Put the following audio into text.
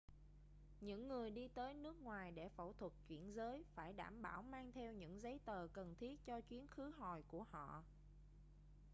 những người đi tới nước ngoài để phẫu thuật chuyển giới phải đảm bảo mang theo những giấy tờ cần thiết cho chuyến khứ hồi của họ